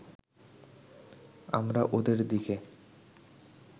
আমরা ওদের দিকে